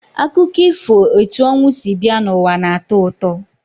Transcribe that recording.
Akụkọ ifo etu ọnwụ si bịa n'ụwa na-atọ ụtọ.